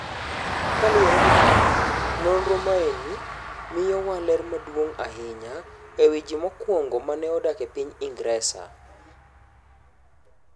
Kaluwore gi mano, nonro maeni miyowa ler maduong’ ahinya e wi ji mokwongo ma ne odak e piny Ingresa.